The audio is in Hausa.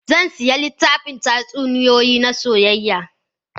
Zan sayi littafin tatsuniyoyi na soyayya.